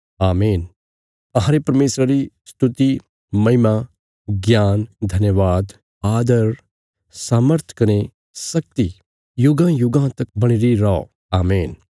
आमीन अहांरे परमेशरा री स्तुति महिमा ज्ञान धन्यवाद आदर सामर्थ कने शक्ति युगांयुगां तक बणीरी रौ आमीन